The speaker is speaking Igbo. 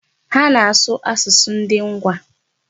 Ha na-asụ asụsụ ndị Ngwa.